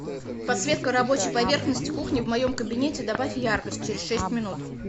подсветка рабочей поверхности кухни в моем кабинете добавь яркость через шесть минут